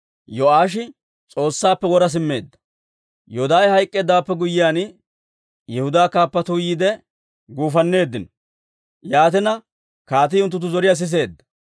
Yoodaahe hayk'k'eeddawaappe guyyiyaan, Yihudaa kaappatuu yiide, guufanneeddino. Yaatina, kaatii unttunttu zoriyaa siseedda.